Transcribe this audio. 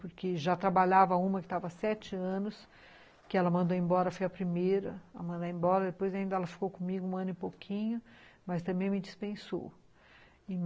Porque já trabalhava uma que estava há sete anos, que ela mandou embora, fui a primeira a mandar embora, depois ainda ela ficou comigo um ano e pouquinho, mas também me dispensou.